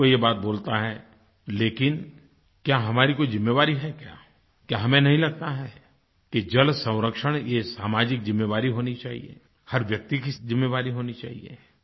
हर कोई ये बात बोलता है लेकिन क्या हमारी कोई जिम्मेवारी है क्या क्या हमें नहीं लगता है कि जलसंरक्षण ये सामाजिक जिम्मेवारी होनी चाहिए हर व्यक्ति की जिम्मेवारी होनी चाहिए